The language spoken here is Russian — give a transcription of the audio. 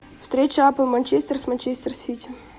встреча апл манчестер с манчестер сити